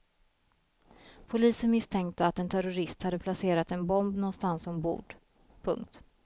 Polisen misstänkte att en terrorist hade placerat en bomb någonstans ombord. punkt